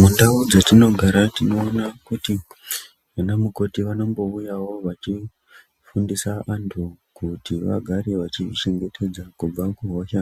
Mundau dzatinogara tinoona kuti vana mukoti vanobouyavo vachifundisa vantu kuti vagare vachizvichengetedza kubva kuhosha